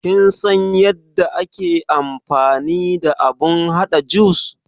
Kin san yadda ake amfani da abun haɗa jus?